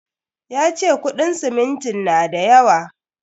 Ya ce kuɗin simintin na da yawa.